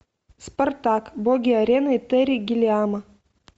спартак боги арены терри гиллиама